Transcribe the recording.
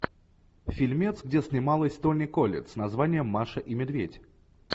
фильмец где снималась тони коллетт с названием маша и медведь